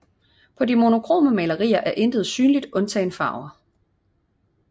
På de monokrome malerier er intet synligt undtagen farver